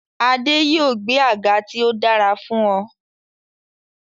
Adé yòó gbẹ́ àga tí ó dára fún ọ.